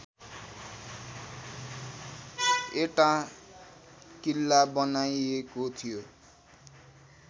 एटाँ किल्ला बनाइएको थियो